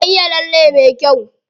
Ta iya lalle me kyau.